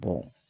Ko